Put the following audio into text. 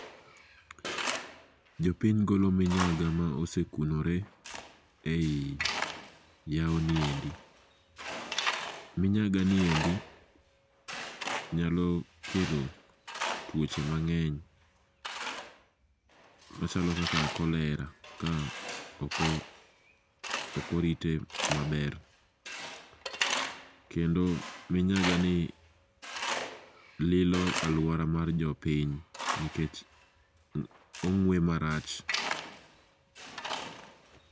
Jopiny golo minyaga ma sekunore ei yawoni endi. Minyaga niendi nyalo kelo tuoche mang'eny machalo kaka cholera ka ok orite maler. Kendo minyagani lilo aluora mar jopiny nikech ong'ue marach.